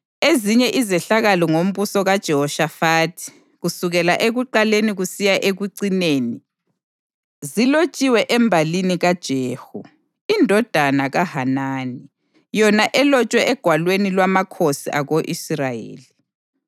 Ezinye izehlakalo ngombuso kaJehoshafathi kusukela ekuqaleni kusiya ekucineni, zilotshiwe embalini kaJehu, indodana kaHanani, yona elotshwe egwalweni lwamakhosi ako-Israyeli.